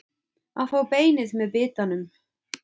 Að fá beinið með bitanum